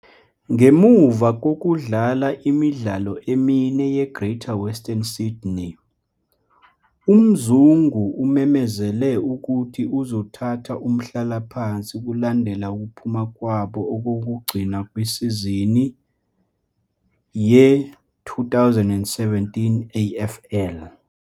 Ngemuva kokudlala imidlalo emine yeGreater Western Sydney, uMzungu umemezele ukuthi uzothatha umhlalaphansi kulandela ukuphuma kwabo okokugcina kwisizini ye-2017 AFL.